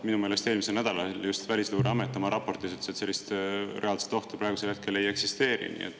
Minu meelest eelmisel nädalal Välisluureamet ütles oma raportis, et sellist reaalset ohtu praegusel hetkel ei eksisteeri.